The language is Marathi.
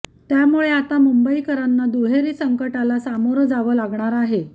त्यामुळे आता मुंबईकरांना दुहेरी संकटाला सामोरं जावं लागणार आहे